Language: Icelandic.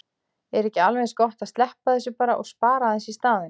Er ekki alveg eins gott að sleppa þessu bara og spara aðeins í staðinn?